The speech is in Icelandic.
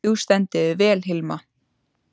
Þú stendur þig vel, Hilma!